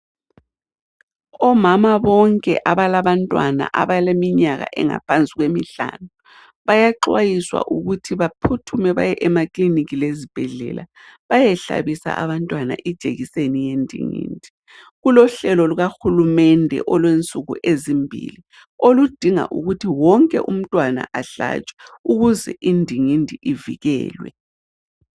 Omama bonke abalabantwana abaleminyaka engaphansi kwemihlanu bayaxwayiswa ukuthi baphuthume baye emaklinikhi lezibhedlela bayehlabisa abantwana ijekiseni yendingindi. Kulohlelo lukahulumende olwensuku ezimbili oludinga ukuthi wonke umntwana ahlatshwe ukuze indingindi ivikelwe.